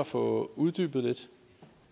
at få uddybet lidt